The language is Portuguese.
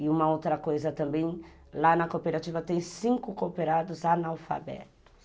E uma outra coisa também, lá na cooperativa tem cinco cooperados analfabetos.